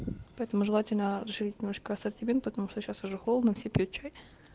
поэтому желательно расширить немножко ассортимент потому что сейчас уже холодно все пьют чай